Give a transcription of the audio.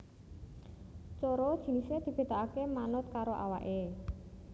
Coro jinisé dibedakaké manut karo awaké